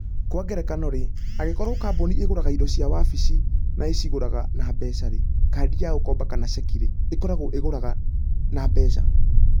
Kwa ngerekano-rĩ, angĩkorũo kambuni ĩgũraga indo cia wabici na ĩciũrĩraga na mbeca, kadi ya gũkomba, kana cheki, ĩkoragwo ĩgũraga na mbeca.